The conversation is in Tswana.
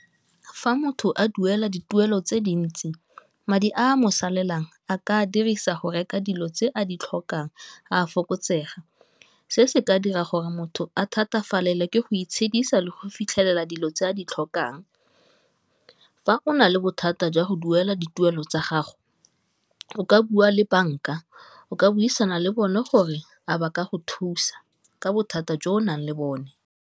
Fa motho a duela dituelo tse dintsi madi a mo salang a ka dirisa go reka dilo tse a di tlhokang a fokotsega, se se ka dira gore motho a thatafalela ke go itshedisa le go fitlhelela dilo tse a di tlhokang, fa o na le bothata jwa go duela dituelo tsa gago o ka bua le bank-a, o ka buisana le bone gore a ba ka go thusa ka bothata jo o nang le bone.